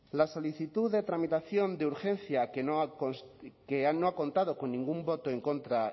la solicitud de tramitación de urgencia que no ha contado con ningún voto en contra